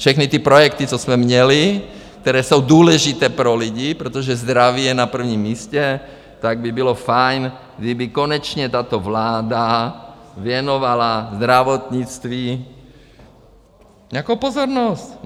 Všechny ty projekty, co jsme měli, které jsou důležité pro lidi, protože zdraví je na prvním místě, tak by bylo fajn, kdyby konečně tato vláda věnovala zdravotnictví nějakou pozornost.